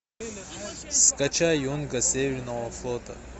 скачай юнга северного флота